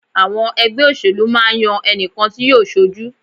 Àwọn ẹgbẹ́ òṣèlú máa ń yan ẹnìkan tí yóò ṣojú.